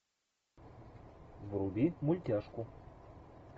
вруби мультяшку